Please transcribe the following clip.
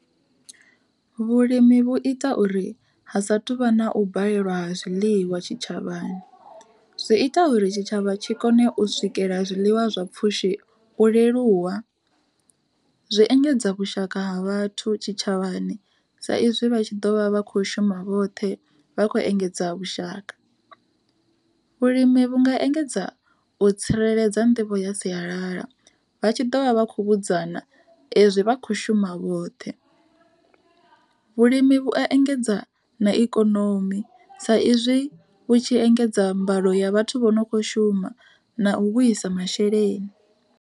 Vhulimi vhu ita uri ha sathu vha na u balelwa ha zwiḽiwa tshitshavhani, zwi ita uri tshitshavha tshi kone u swikela zwiḽiwa zwa pfhushi u leluwa, zwi engedza vhushaka ha vhathu tshitshavhani, sa izwi vha tshi ḓo vha vha kho shuma vhoṱhe vha kho engedza vhushaka. Vhulimi vhu nga engedza u tsireledza nḓivho ya sialala, vha tshi ḓovha vha khou vhudzana ezwi vha kho shuma vhoṱhe. Vhulimi vhu a engedza na ikonomi sa izwi vhu tshi engedza mbalo ya vhathu vho no kho shuma na u vhuisa masheleni.